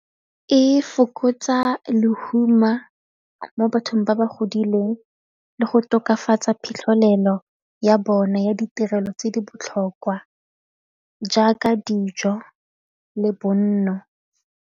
E fokotsa lehuma mo bathong ba ba godileng le go tokafatsa phitlhelelo ya bona ya ditirelo tse di botlhokwa jaaka dijo le bonno.